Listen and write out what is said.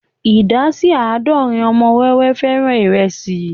Ìdá sí àádọ́rin ọmọ wẹ́wẹ́ fẹ́ràn ìrẹsì